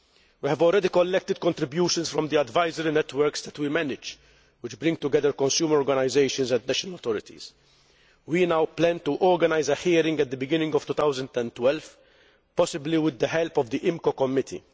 We have already collected contributions from the advisory networks that we manage which bring together consumer organisations and national authorities. We now plan to organise a hearing at the beginning of 2012, possibly with the help of the IMCO Committee.